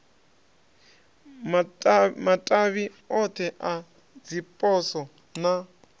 matavhi othe a dziposo na